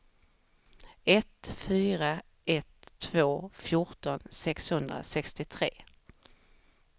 ett fyra ett två fjorton sexhundrasextiotre